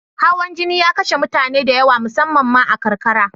Hawan jini ya kashe mutane da yawa, musammam ma a karkara.